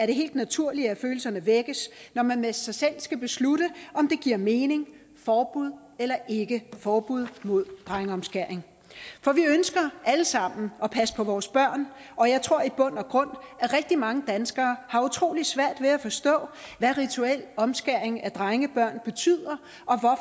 det helt naturligt at følelserne vækkes når man med sig selv skal beslutte om det giver mening forbud eller ikke forbud mod drengeomskæring for vi ønsker alle sammen at passe på vores børn og jeg tror i bund og grund at rigtig mange danskere har utrolig svært ved at forstå hvad rituel omskæring af drengebørn betyder